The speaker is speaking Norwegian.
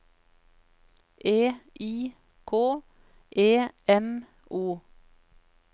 E I K E M O